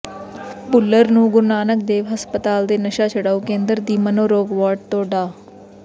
ਭੁੱਲਰ ਨੂੰ ਗੁਰੂ ਨਾਨਕ ਦੇਵ ਹਸਪਤਾਲ ਦੇ ਨਸ਼ਾ ਛੁਡਾਊ ਕੇਂਦਰ ਦੀ ਮਨੋਰੋਗ ਵਾਰਡ ਤੋਂ ਡਾ